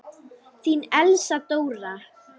Þín, Elsa Dóra.